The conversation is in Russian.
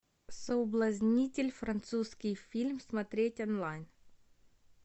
соблазнитель французский фильм смотреть онлайн